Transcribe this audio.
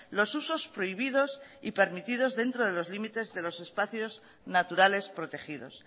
los usos prohibidos y permitidos dentro de los límites de los espacios naturales protegidos